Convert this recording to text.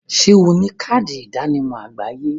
Ṣé o ní káàdì ìdánimọ̀ àgbáyé?